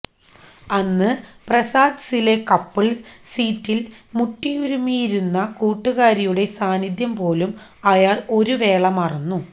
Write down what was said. അന്ന് പ്രസാദ്സിലെ കപ്പിൾസ് സീറ്റിൽ മുട്ടിയുരുമ്മിയിരുന്ന കൂട്ടുകാരിയുടെ സാന്നിധ്യം പോലും അയാൾ ഒരുവേള മറന്നു